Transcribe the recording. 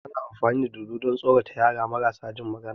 Ana amfani da dodo don tsorata yara marasa jin magana